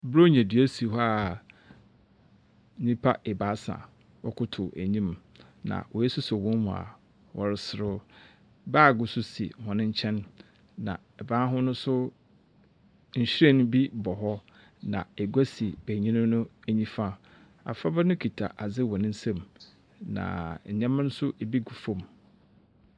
Buronya dua si hɔ a nyimpa baasa wɔkotow enyim. Na woesosɔ hɔn mu a wɔreserew. Baage nso si hɔn nkyɛn, na ban ho no nso nhyiren bi bɔ hɔ, na egya si benyin no nyifa. Abofraba no kita adze wɔ ne nsamu, na ndzɛmba nso bi gu famu.